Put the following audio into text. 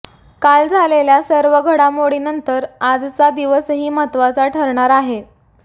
काल झालेल्या सर्व घडामोडींनंतर आजचा दिवसही महत्वाचा ठरणार आहे